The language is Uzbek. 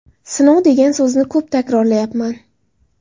Sinov degan so‘zni ko‘p takrorlayapman.